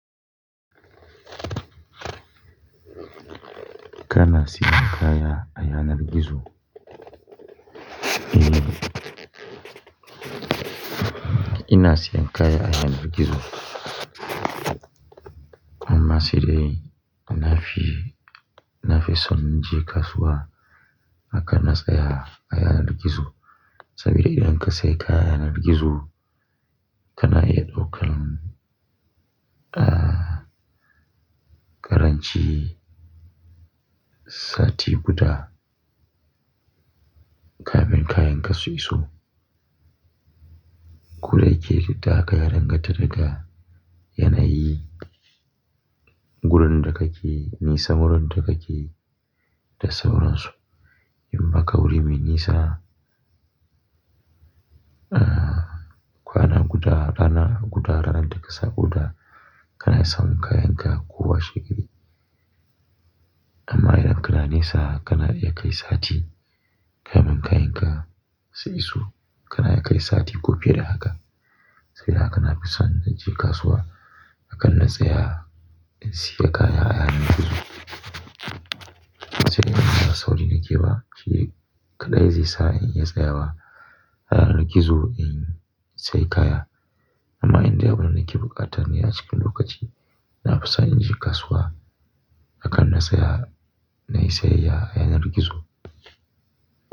Kana siyan kaya a yanar gizo? Eh, ina siyan kaya a yanar gizo. Amma sai dai na fi, na fi son in je kasuwa akan na tsaya a yanar gizo. Saboda idan ka sayi kaya a yanar gizo kana iya ɗaukan, ah, ƙaranci sati guda kafin kayanka su iso. Koda yake dukda haka yadanganta daga yanayi, gurin da kake, nisa wurun da kake da sauransu. Yi maka wuri mai nisa, ah, kwana guda, rana guda, ranar da ka sa guda kana samun kayanka kowa she gari. Amma idan kana nisa kana iya kai sati kafin kayanka su iso. Kana iya kai sati ko fiye da haka saboda haka na fi son in je kasuwa akan na tsaya in siya kaya a yanar gizo. Sai dai in ba sauri nake ba shi kaɗai zai sa in iya tsayawa a yanar gizo in sayi kaya. Amma indai abunda nake buƙata ne a cikin lokaci. Na fi son in je kasuwa akan na tsaya, na yi sayayya a yanar gizo.